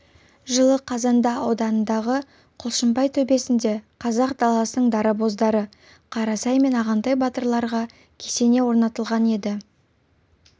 жылы қазанда ауданындағы құлшынбай төбесінде қазақ даласының дарабоздары қарасай мен ағынтай батырларға кесене орнатылған еді